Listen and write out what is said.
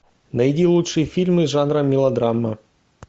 найди лучшие фильмы жанра мелодрама